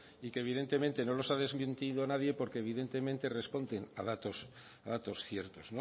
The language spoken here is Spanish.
y que evidentemente no los ha desmentido nadie porque evidentemente responden a datos ciertos